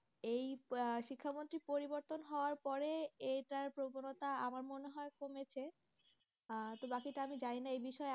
এই আহ শিক্ষামন্ত্রী পরিবর্তন হওয়ার পরে এইটার প্রবণতা আমার মনে হয় কমেছে আহ তো বাকিটা আমি জানি না এই বিষয়ে।